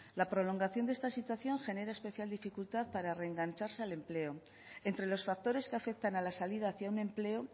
la prolongación de esta situación genera especial dificultad para reengancharse al empleo entre los factores que afectan a la salida hacia un empleo